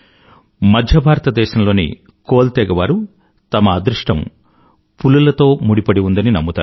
మధ్య భారతదేశంలోని కోల్ తెగ వారు తమ అదృష్టం పులులతో ముడిపడి ఉందని నమ్ముతారు